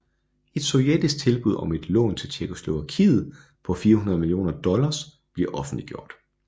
Et sovjetisk tilbud om et lån til Tjekkoslovakiet på 400 millioner dollars bliver offentliggjort